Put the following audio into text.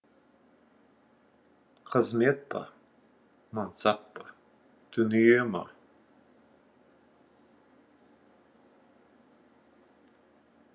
қызмет па мансап па дүние ма